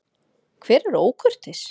Hver er ókurteis?